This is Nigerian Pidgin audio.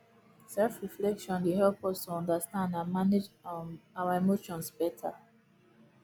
selfreflection dey help us to understand and manage um our emotions beta